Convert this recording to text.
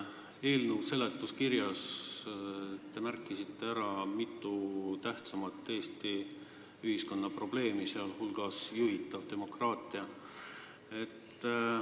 Eelnõu seletuskirjas te märgite ära Eesti ühiskonna mitu tähtsamat probleemi, sh juhitava demokraatia.